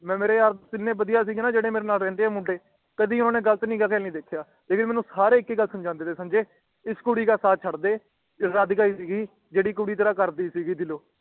ਮੈਂ ਮੇਰੇ ਯਾਰ ਦੋਸਤ ਇੰਨੇ ਵੱਡੀਆਂ ਸੀਗੇ ਨਾ ਜੇਦੇ ਮੇਰੇ ਨਾਲ ਰਹਿੰਦੇ ਆ ਮੁੰਡੇ ਕਦੇ ਉਹਨੇ ਕਦੇ ਓਹਨਾ ਨੂੰ ਗ਼ਲਤ ਨੀ ਦੇਖਿਆ ਲੇਕਿਨ ਸਾਰੇ ਮੇਨੂ ਇਕ ਗੱਲ ਸਮਝਾਂਦੇ ਰਾਏ ਕਿ ਤੂੰ ਉਸ ਕੁੜੀ ਦਾ ਸਾਥ ਛੱਡ ਦੇ ਇਕ ਰਾਧਿਕਾ ਹੀ ਸਿਗਗੀ ਜੇਦੀ ਕੁੜੀ ਤੇਰਾ ਕਰਦੀ ਸੀਗੀ ਦਿਲੋਂ